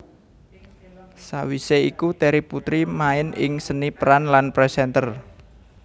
Sawise iku Terry Putri main ing seni peran lan presenter